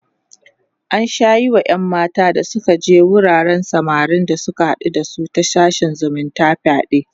an Sha Yi Wa ƴan mata da Suka je wuraren samarin da Suka haɗu da ta sashen zumunta fyaɗe